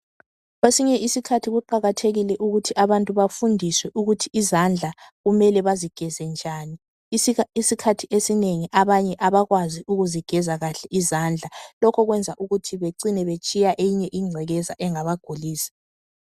Kwesinye isikhathi kuqakathekile ukuthi abantu bafundiswe ukuthi izandla kumele bazigeze njani. Isikhathi esinengi abanye abakwazi ukuzigeza kahle izandla. Lokho kwenza ukuthi becine betshiya enye ingcekeza engabagulisa.